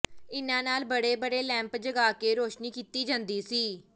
ਇਨ੍ਹਾਂ ਨਾਲ ਬੜੇ ਬੜੇ ਲੈਂਪ ਜਗਾ ਕੇ ਰੌਸ਼ਨੀ ਕੀਤੀ ਜਾਂਦੀ ਸੀ